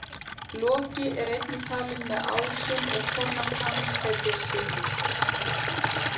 Loki er einnig talinn með ásum og kona hans heitir Sigyn.